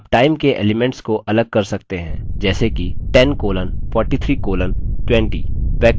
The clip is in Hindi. आप time के elements को अलग कर सकते हैं जैसे कि 10 colon 43 colon 20